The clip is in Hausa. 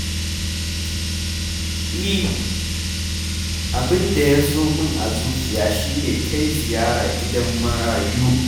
E, abinda ya zo min a zuciya shi ne kai ziyara gidan marayu.